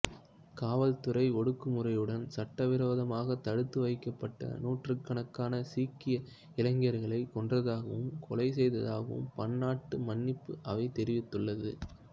காவல்துறை ஒடுக்குமுறையுடன் சட்டவிரோதமாகத் தடுத்து வைக்கப்பட்ட நூற்றுக்கணக்கான சீக்கிய இளைஞர்களைக் கொன்றதாகவும் கொலை செய்ததாகவும் பன்னாட்டு மன்னிப்பு அவை தெரிவித்தது